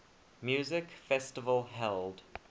music festival held